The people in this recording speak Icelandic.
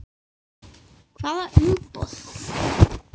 Hvaða umboð?